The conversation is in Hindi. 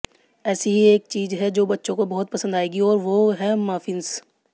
ऐसी ही एक चीज है जो बच्चों को बहुत पसंद आएगी और वो है मफिंस